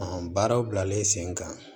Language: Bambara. baaraw bilalen sen kan